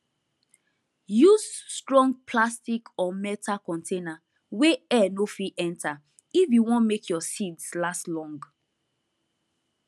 use strong plastic or metal container wey air no fit enter if you wan make your seeds last long